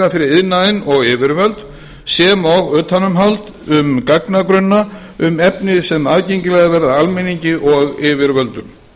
fyrir iðnaðinn og yfirvöld sem og utanumhald um gagnagrunna um efni sem aðgengilegir verða almenningi og yfirvöldum